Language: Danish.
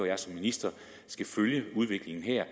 jeg som minister skal følge udviklingen her